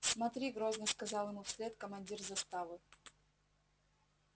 смотри грозно сказал ему вслед командир заставы